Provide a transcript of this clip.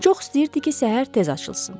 Çox istəyirdi ki, səhər tez açılsın.